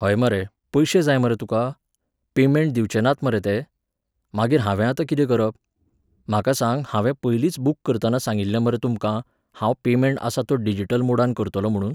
हय मरे, पयशे जाय मरे तुका? पेमेंट दिवचे नात मरे ते? मागीर हांवें आतां कितें करप? म्हाका सांग, हांवें पयलींच बूक करताना सांगिल्लें मरे तुमकां, हांव पेमेंट आसा तो डिजीटल मोडान करतलों म्हुणून?